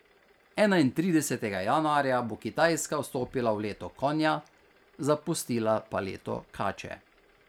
Enaintridesetega januarja bo Kitajska vstopila v leto konja, zapustila pa leto kače.